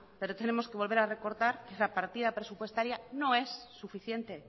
pero tenemos que volver a recordar que la partida presupuestaria no es suficiente